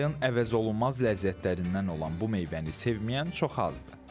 Yayın əvəzolunmaz ləzzətlərindən olan bu meyvəni sevməyən çox azdır.